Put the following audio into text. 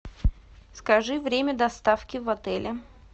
скажи время доставки в отеле